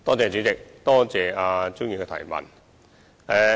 主席，多謝蔣議員的質詢。